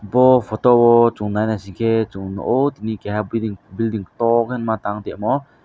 bo photo o chung nai naising ke chung nugo tini keha building toh ke ma tang omo.